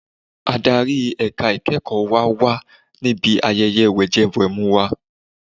Adarí ẹ̀ka ìkẹ́ẹ̀kọ̀ wa wà níbi ayẹyẹ wẹ̀jẹwẹ̀mu wa.